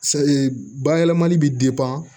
bayɛlɛmali bɛ